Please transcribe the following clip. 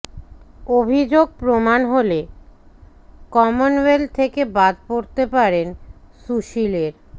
অভিযোগ প্রমাণ হলে কমনওয়েলথ থেকে বাদ পড়তে পারেন সুশীলের